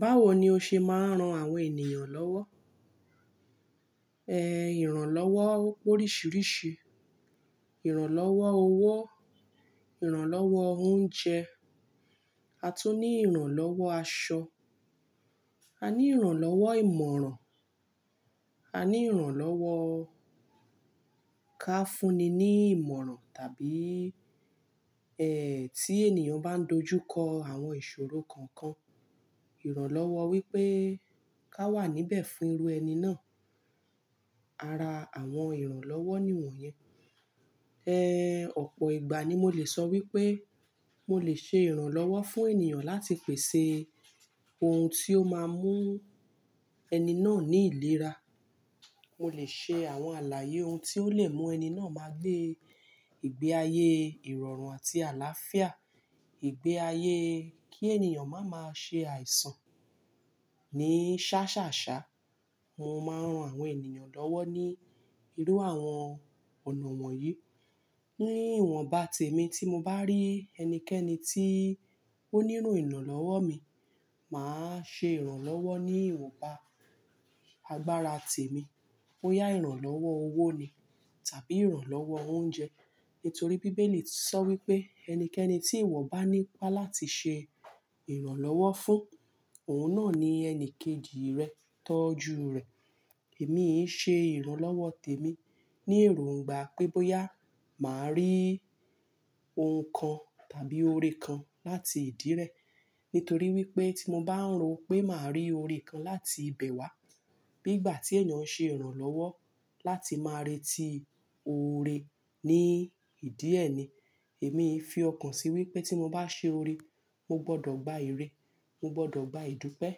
Báwo ni o ṣe máa ń ran àwọn ènìyàn lọ́wọ́? Ehn, ìrànlọ́wọ́ ope oriṣiríṣi, ìrànlọ́wọ́ owó, ìrànlọ́wọ́ oúnjẹ, a tún ní ìrànlọ́wọ́ aṣọ, a ní ìrànlọ́wọ́ ìmọ̀ràn, a ní ìrànlọ́wọ́ ká fúnni ní ìmọ̀ràn tàbí, eh, tí ènìyàn bá ń dojú kọ àwọn ìṣòro kankan, ìrànlọ́wọ́ wípé ká wà níbẹ̀ fún irú ẹni náà. Ara àwọn ìrànlọ́wọ́ ni ìwọ̀n yẹn. Eh, ọ̀pọ̀ ìgbà ni mo lè sọ wípé mo lè ṣe ìrànlọ́wọ́ fún ènìyàn láti pèsè ohun tí ó máa mú ẹni náà ní ìlera. Mo lè ṣe àwọn àlàyé ohun tí ó lè mú ẹni náà máa gbé ìgbé ayé ìrọ̀rùn àti àláfíà, ìgbé ayé kí ènìyàn máa ma ṣe àìsàn ní ṣá ṣà ṣá. Mo máa ń ran àwọn ènìyàn lọ́wọ́ ní irú àwọn ọ̀nà wọ̀nyí. Ní ìwọ̀nba tèmi tí mo bá rí ẹnikẹ́ni tí ó nílo ìrànlọ́wọ́ mi, màá ṣe ìrànlọ́wọ́ ní ìwọ̀nba agbára tèmi. Boyá ìrànlọ́wọ́ owó ni tàbí ìrànlọ́wọ́ oúnjẹ. Nítorí bíbélì tisọ wípé ẹnikẹ́ni tí ìwọ bá ní ipá láti ṣe ìrànlọ́wọ́ fún, òun náà ni ẹni kejì rẹ tọ́jú rẹ. Èmi e ṣe ìrànlọ́wọ́ tèmi ní èróńgbà pé bóyá màá rí ohun kan tàbí oore kan láti ìdí rẹ. Nítorí wípé tí mo bá ń ro pé màá rí oore kan láti ibẹ̀ wá. Bí ìgbà tí ènìyàn ṣe ìrànlọ́wọ́ láti máa retí oore ní ìdí ẹ ni, èmi fi ọkàn sí wípé tí mo bá ṣe oore, mo gbọdọ̀ gba ère, mo gbọdọ̀ gba ìdúpẹ́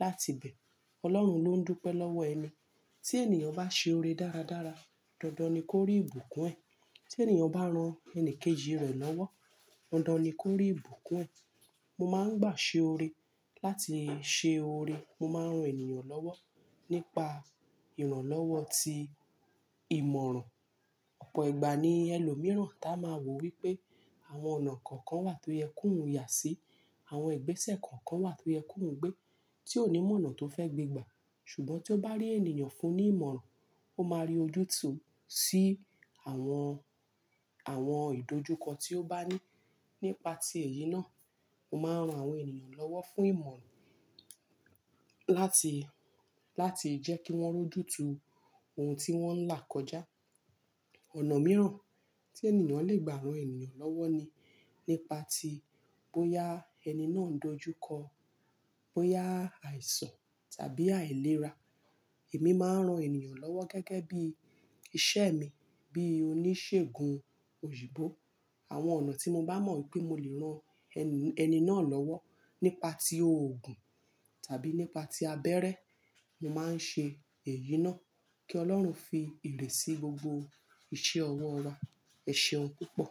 láti ibẹ̀. Ọlọ́run ló ń dúpẹ́ lọ́wọ́ ẹni. Tí ènìyàn bá ṣe oore dáradára, dandan ni kó rí ìbùkún ẹ. Tí ènìyàn bá ran ẹni kejì rẹ̀ lọ́wọ́, dandan ni kó rí ìbùkún ẹ. Mo máa ń gbà ṣe oore. Láti ṣe oore, mo máa ń rán ènìyàn lọ́wọ́ nípa ìrànlọ́wọ́ tí ìmọ̀ràn. Ọ̀pọ̀ ìgbà ni ẹlòmíràn táa máa wò wípé àwọn ọ̀nà kọ̀ọ̀kan wà tó yẹ kó un ya sí, àwọn igbẹ́sẹ̀ kọ̀ọ̀kan wà tó yẹ kó ń gbé tí ò ní mọ̀ ọ̀nà tó fẹ́ gbé gbà. Ṣùgbọ́n tí ó bá rí ènìyàn fún ní ìmọ̀ràn, ó máa rí ojútùú sí àwọn, àwọn ìdójúkọ tí ó bá ní nípa ti èyí náà. Mo máa ń ran àwọn ènìyàn lọ́wọ́ fún ìmọ̀ràn láti, láti jẹ́ kí wọ́n rojú tú ohun tí wọ́n ń là kọjá. Ọ̀nà mìíràn tí ènìyàn lè gbà ran ènìyàn lọ́wọ́ ni nípa tí bóyá ẹni náà ń dojú kọ, bóyá àìsàn tàbí àìlera. Èmi máa ń ran ènìyàn lọ́wọ́ gẹ́gẹ́ bí iṣẹ́ mi, bí oníṣègùn òyìnbó. Àwọn ọ̀nà tí mo bá mọ̀ wípé mo lè ran ẹni náà lọ́wọ́ nípa ti òògùn tàbí nípa tí abẹ́rẹ́, mo máa ń ṣe èyí náà kí Ọlọ́run fi ere sí gbogbo iṣẹ́ ọwọ́ wa. Ẹ ṣeún púpọ̀.